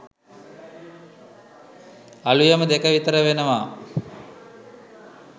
අලුයම දෙක විතර වෙනවා.